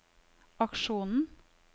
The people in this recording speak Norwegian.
aksjonen